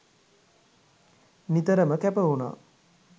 නිතරම කැපවුණා